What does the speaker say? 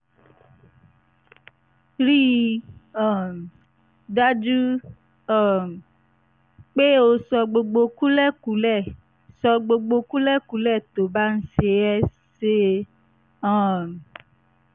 rí i um dájú um pé o sọ gbogbo kúlẹ̀kúlẹ̀ sọ gbogbo kúlẹ̀kúlẹ̀ tó bá ṣe é ṣe um